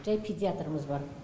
жәй педиатрымыз бар